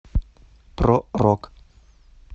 про рок